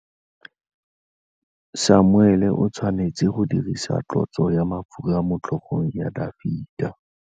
Samuele o tshwanetse go dirisa tlotsô ya mafura motlhôgong ya Dafita.